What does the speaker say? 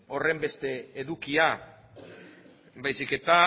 horrenbeste edukia baizik eta